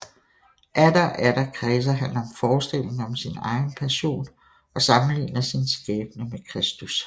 Atter og atter kredser han om forestillingen om sin egen passion og sammenligner sin skæbne med Kristus